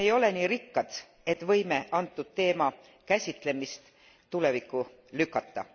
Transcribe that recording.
Me ei ole nii rikkad, et võime antud teema käsitlemist tulevikku lükata.